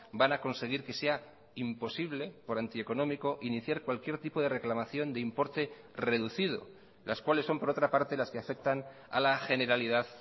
van a conseguir que sea imposible por antieconómico iniciar cualquier tipo de reclamación de importe reducido las cuales son por otra parte las que afectan a la generalidad